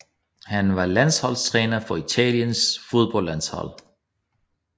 Han var landsholdstræner for Italiens fodboldlandshold